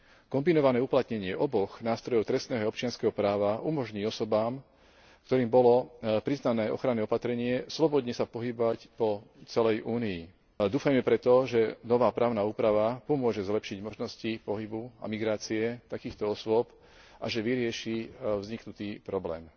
Kombinované uplatnenie oboch nástrojov trestného občianskeho práva umožní osobám, ktorým bolo priznané ochranné opatrenie, slobodne sa pohybovať po celej Únii. Dúfajme preto, že nová právna úprava pomôže zlepšiť možnosti pohybu a migrácie takýchto osôb a že vyrieši vzniknutý problém.